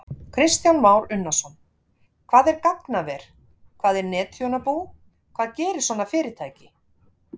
Kristján Már Unnarsson: Hvað er gagnaver, hvað er netþjónabú, hvað gerir svona fyrirtæki?